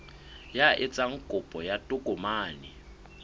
ya etsang kopo ya tokomane